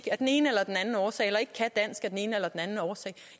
af den ene eller den anden årsag eller ikke kan dansk af den ene eller den anden årsag